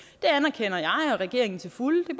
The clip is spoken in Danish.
det anerkender jeg og regeringen til fulde det